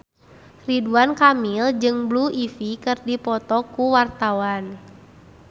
Ridwan Kamil jeung Blue Ivy keur dipoto ku wartawan